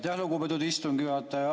Aitäh, lugupeetud istungi juhataja!